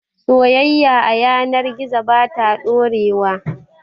Soyayya a yanar gizo ba ta ɗorewa